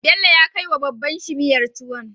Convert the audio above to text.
Bello ya kai wa wa babban shi miyar tuwon